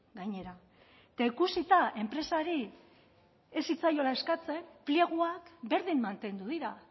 gainera eta ikusita enpresari ez zitzaiola eskatzen pleguak berdin mantendu dira